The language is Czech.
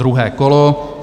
Druhé kolo.